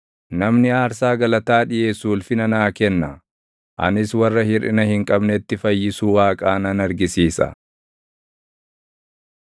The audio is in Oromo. Namni aarsaa galataa dhiʼeessu ulfina naa kenna; anis warra hirʼina hin qabnetti fayyisuu Waaqaa nan argisiisa.”